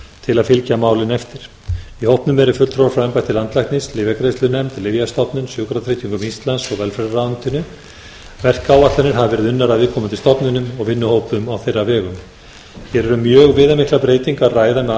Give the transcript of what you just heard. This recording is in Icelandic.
til að fylgja málinu eftir í hópnum eru fulltrúar frá embætti landlæknis lyfjagreiðslunefnd lyfjastofnun sjúkratryggingum íslands og velferðarráðuneytinu verkáætlanir hafa verið unnar af viðkomandi stofnunum og vinnuhópum á þeirra vegum hér er um mjög viðamiklar breytingar að ræða með